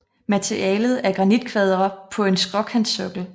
Materialet er granitkvadre på en skråkantsokkel